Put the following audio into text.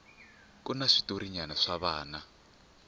kuna switotrna swa vana